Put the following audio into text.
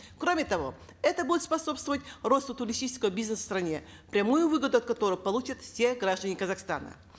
кроме того это будет способствовать росту туристического бизнеса в стране прямую выгоду от которой получат все граждане казахстана